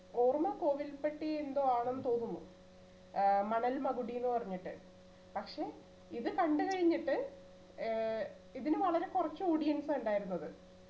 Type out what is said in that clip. ഓർമ കോവിൽപ്പട്ടി എന്തോ ആണെന്ന് തോന്നുന്നു ഏർ മണൽ മകുടിന്നു പറഞ്ഞിട്ട് പക്ഷെ ഇത് കണ്ട് കഴിഞ്ഞിട്ട് ഏർ ഇതിനു വളരെ കുറച്ചു audience ആ ഇണ്ടായിരുന്നത്